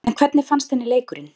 En hvernig fannst henni leikurinn?